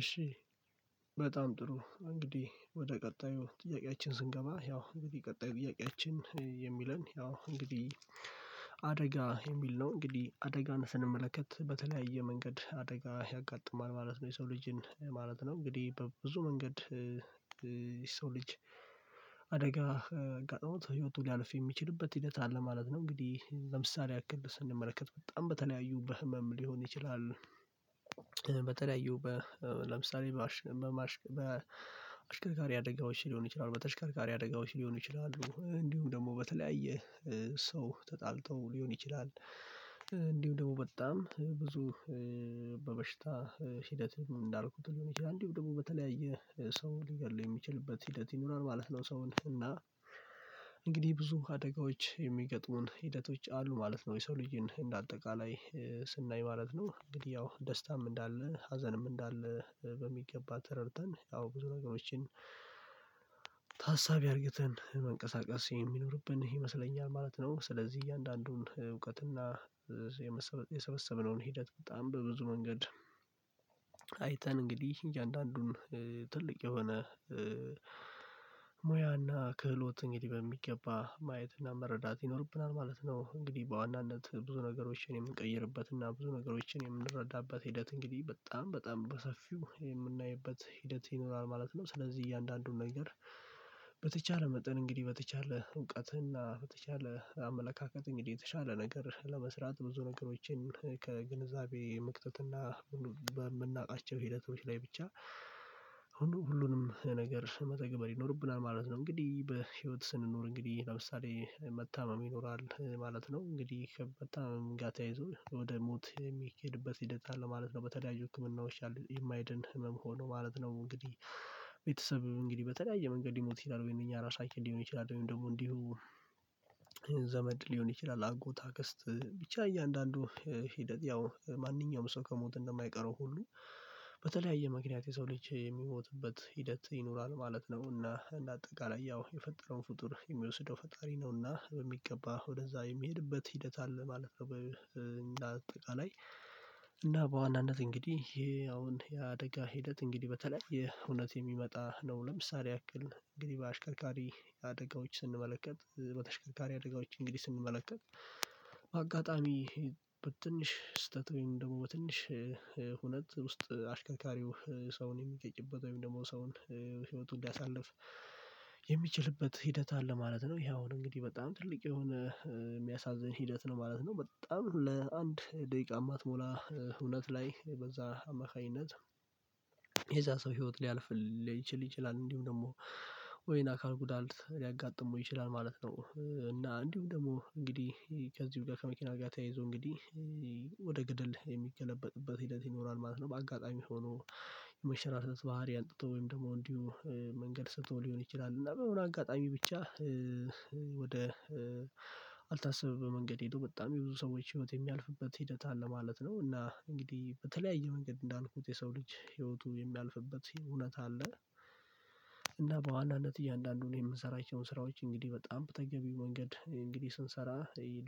እሺ። በጣም ጥሩ እንግዲህ ወደ ቀጣዩ ጥያቄያችን ስንገባ ያው እንግዲህ ቀጣይ ጥያቄያችን የሚለን ያው እንግዲህ። አደጋ የሚል ነው እንግዲህ አደጋን ስንመለከት በተለያየ መንገድ አደጋ ያጋጥማል ማለት ነው። የሰው ልጅን ማለት ነው እንግዲህ በብዙ መንገድ የሰው ልጅ አደጋ አጋጥሞት ህይወቱ ሊያልፍ የሚችልበት ሂደት አለ ማለት ነው። እንግዲህ ለምሳሌ አክብር ስንመለከት በጣም በተለያዩ በህመም ሊሆን ይችላል። በተለያዩ ለምሳሌ በማሽከር በተሽከርካሪ አደጋዎች ሊሆን ይችላሉ በተሽከርካሪ አደጋዎች ሊሆን ይችላሉ። እንዲሁም ደግሞ በተለያየ ሰው ተጣልተው ሊሆን ይችላል እንዲሁ ደግሞ በጣም ብዙ በበሽታ ሂደት እንዳልኩት ሊሆን ይችላል እንዲሁ ደግሞ በተለያየ ሰው ሊገድል የሚችልበት ሂደት ይኖራል ማለት ነው። ሰውን እና እንግዲህ ብዙ አደጋዎች የሚገጥሙን ሂደቶች አሉ ማለት ነው። የሰው ልጅን እንደ አጠቃላይ ስናይ ማለት ነው እንግዲህ ያው ደስታም እንዳለ ሀዘንም እንዳለ በሚገባ ተረድተን ያው ብዙ ነገሮችን አድርገን መንቀሳቀስ የሚኖርብን ይመስለኛል ማለት ነው። ስለዚህ እያንዳንዱን እውቀትና የሰበሰበነውን ሂደት በጣም በብዙ መንገድ አይተን እንግዲህ እያንዳንዱን ትልቅ የሆነ ሙያና ክህሎት እንግዲህ በሚገባ ማየትና መረዳት ይኖርብናል ማለት ነው። እንግዲህ በዋናነት ብዙ ነገሮችን የምንቀይርበት እና ብዙ ነገሮችን የምንረዳበት ሂደት እንግዲህ በጣም በጣም በሰፊው የምናይበት ሂደት ይኖራል ማለት ነው። ስለዚህ እያንዳንዱን ነገር በተቻለ መጠን እንግዲህ በተቻለ እውቀትና በተቻለ አመለካከት እንግዲህ የተሻለ ነገር ለመስራት ብዙ ነገሮችን ከግንዛቤ መክተትና በምናውቃቸው ሂደቶች ላይ ብቻ ሁሉንም ነገር መተግበር ይኖርብናል ማለት ነው። እንግዲህ በህይወት ስንኖር እንግዲህ ለምሳሌ መታመም ይኖራል ማለት ነው እንግዲህ መታመም ጋር ተየይዞ ወደ ሞት የሚኬድበት ሂደት አለ ማለት ነው። በተለያዩ ህክምናዎች የማይድን ህመም ሆኖ ማለት ነው እንግዲህ ቤተሰብ እንግዲህ በተለያየ መንገድ ሊሞት ይችላል ወይንም እኛ ራሳችን ሊሆን ይችላል። ወይንም ደግሞ እንዲሁ ዘመድ ሊሆን ይችላል አጎት አገስት ብቻ እያንዳንዱ ሂደት ያው ማንኛውም ሰው ከሞት እንደማይቀረው ሁሉ በተለያየ ምክንያት የሰው ልጅ የሚሞትበት ሂደት ይኖራል ማለት ነው። እና እንደ አጠቃላይ ያው የፈጠረውን ፍጡር የሚወስደው ፈጣሪ ነውና በሚገባ ወደዛ የሚሄድበት ሂደት አለ ማለት ነው። እና አጠቃላይ እና በዋናነት እንግዲህ ይሄ አሁን የአደጋ ሂደት እንግዲህ በተለያየ ሁነት የሚመጣ ነው ለምሳሌ ያክል እንግዲህ በአሽከርካሪ አደጋዎች ስንመለከት በተሽከካሪ አደጋዎች እንግዲህ ስንመለከት አጋጣሚ በትንሽ ስህተት ወይም ደግሞ በትንሽ ሁነት ውስጥ አሽከርካሪው ሰውን የሚገጭበት ወይም ደግሞ ሰውን ህይወቱን እንዲያሳለፍ የሚችልበት ሂደት አለ ማለት ነው። ይሄ አሁን እንግዲህ በጣም ትልቅ የሆነ የሚያሳዝን ሂደት ነው ማለት ነው በጣም ለአንድ ደቂቃ የማትሞላ ሁነት ላይ በዛ አማካኝነት የዛ ሰው ህይወት ሊያልፍ ሊችል ይችላል እንዲሁ ደግሞ ወይን አካል ጉዳት ሊያጋጥሙ ይችላል ማለት ነው። እና እንዲሁም ደግሞ እንግዲህ ከዚሁ ጋር ከመኪና ጋር ተያይዞ እንግዲህ ወደ ገደል የሚገለበጥበት ሂደት ይኖራል ማለት ነው። በአጋጣሚ ሆኖ የመሸራተት ባህሪ አግቶ ወይም ደግሞ እንዲሁ መንገድ ስቶ ሊሆን ይችላል እና በሆነ አጋጣሚ ብቻ ወደ አልታሰበበት መንገድ ሄዶ በጣም የብዙ ሰዎች ህይወት የሚያልፍበት ሂደት አለ ማለት ነው። እና እንግዲህ በተለያየ መንገድ እንዳልኩት የሰው ልጅ ህይወቱ የሚያልፍበት ሁነት አለ። እና በዋናነት እያንዳንዱን የምንሰራቸውን ስራዎች እንግዲህ በጣም በተገቢው መንገድ እንግዲህ ስንሰራ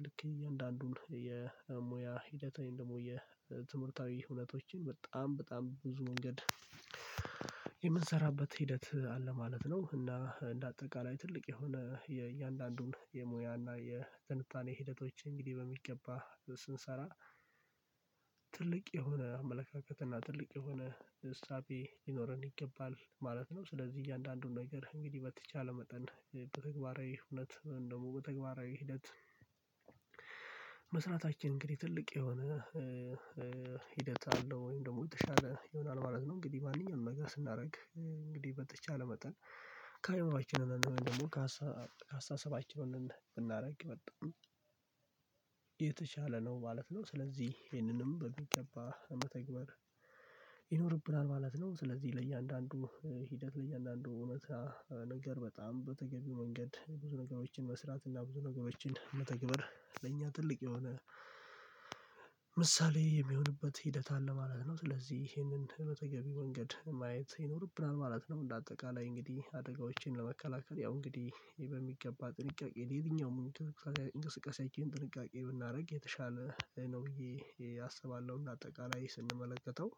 ልክ እያንዳንዱን የሙያ ሂደት ወይም የትምህርታዊ ሁነቶችን በጣም በጣም ብዙ መንገድ የምንሰራበት ሂደት አለ ማለት ነው። እና እንደ አጠቃላይ ትልቅ የሆነ የእያንዳንዱን የሙያ የትንታኔ ሂደቶች እንግዲህ በሚገባ ስንሰራ ትልቅ የሆነ አመለካከት እና ትልቅ የሆነ እሳቤ ይኖረን ይገባል ማለት ነው። ስለዚህ እያንዳንዱን ነገር እንግዲህ በተቻለ መጠን በተግባራዊ ሁነት ወይም ደግሞ በተግባራዊ ሂደት መስራታችን እንግዲህ ትልቅ የሆነ ሂደት አለው ወይም ደግሞ የተሻለ ይሆናል ማለት ነው። እንግዲህ ማንኛውንም መግዛት ስናደርግ እንግዲህ በተቻለ መጠን ከህይዋችን ደግሞ ካስተሳሰባችን ብናደርግ የመጣው ነው ማለት ነው። ስለዚህ ይሄንንም በሚገባ ለመተግበር ይኖርብናል ማለት ነው። ስለዚህ ለእያንዳንዱ ሂደት ለእያንዳንዱ እውነታ ነገር በጣም በተገቢው መንገድ ብዙ ነገሮችን መስራት እና ብዙ ነገሮችን መተግበር ለእኛ ትልቅ የሆነ ምሳሌ የሚሆንበት ሂደት አለ ማለት ነው። ስለዚህ ይሄንን በተገቢው መንገድ ማየት ይኖርብናል ማለት ነው። እንደ አጠቃላይ እንግዲህ አደጋዎችን ለመከላከል ያው እንግዲህ ይሄ በሚገባ ጥንቃቄ የተኛውም እንቅስቃሴአችን ጥንቃቄ ብናደርግ የተሻለ ነው ብዬ አስባለሁ እና አጠቃላይ ስንመለከተው።